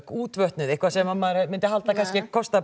útvötnuð eitthvað sem maður myndi halda kannski að kostaði